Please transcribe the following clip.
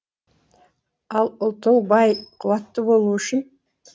ал ұлтының бай қуатты болуы үшін